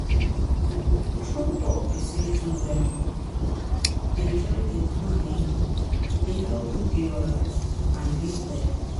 true talk be say to um dey try dey plan[um]dey help me dey alright and dey well